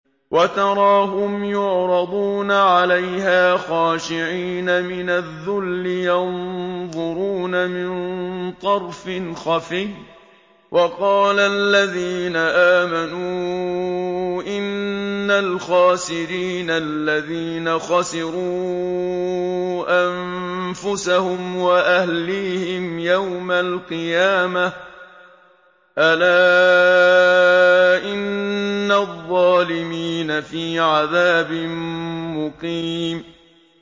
وَتَرَاهُمْ يُعْرَضُونَ عَلَيْهَا خَاشِعِينَ مِنَ الذُّلِّ يَنظُرُونَ مِن طَرْفٍ خَفِيٍّ ۗ وَقَالَ الَّذِينَ آمَنُوا إِنَّ الْخَاسِرِينَ الَّذِينَ خَسِرُوا أَنفُسَهُمْ وَأَهْلِيهِمْ يَوْمَ الْقِيَامَةِ ۗ أَلَا إِنَّ الظَّالِمِينَ فِي عَذَابٍ مُّقِيمٍ